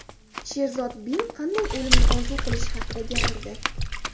Sherzod Bin qanday o‘limni orzu qilishi haqida gapirdi.